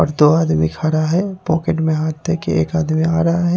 और दो आदमी खड़ा है पॉकेट में हाथ दे के एक आदमी आ रहा है।